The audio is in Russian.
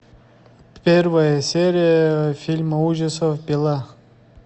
первая серия фильма ужасов пила